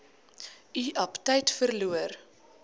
u aptyt verloor